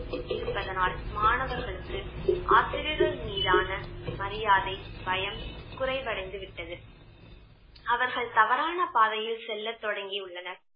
இருப்பதனால் மாணவர்களுக்கு ஆசிரியர்கள் மீதான மரியாதை, பயம் குறைவடைந்து விட்டது அவர்கள் தவறான பாதையில் செல்ல தொடங்கியுள்ளனர்